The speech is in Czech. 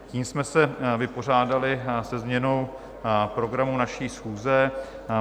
Tím jsme se vypořádali se změnou programu naší schůze.